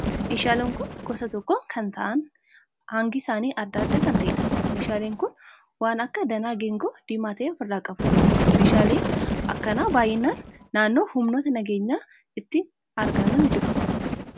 Meeshaaleen kun gosa tokko kan ta'aan hangi isaanii adda adda kan ta'eedha. Meeshaaleen kun waan akka danaa geengoo diimaa ta'e ofirraa qabu. Meeshaaleen akkanaa baayinaan naannoo humnootni nageenyaa itti argaman jiru.